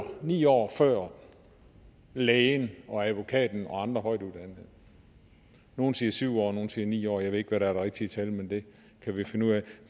ni år før lægen og advokaten og andre højtuddannede nogle siger syv år nogle siger ni år jeg ved ikke hvad der er det rigtige tal men det kan vi finde ud af